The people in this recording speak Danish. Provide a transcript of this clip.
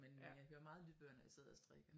Men øh hører meget lydbøger når jeg sidder og strikker